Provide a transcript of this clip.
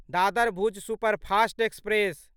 Dadar Bhuj superfast express